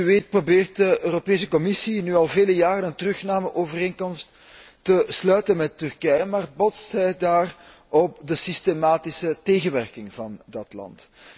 Zoals u weet probeert de Europese Commissie nu al vele jaren een terugnameovereenkomst te sluiten met Turkije, maar botst daar op de systematische tegenwerking van dat land.